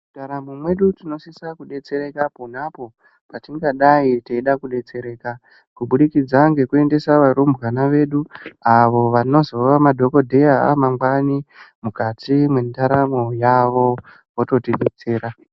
Mundaramo medu tinosisa kudetsereka pona apo patingadai teida kudetsereka kubudikidza ngekuendesa varumbwana vedu avo vanozova madhokodheya amangwanai mukati mendaramo yavo vototi detsera.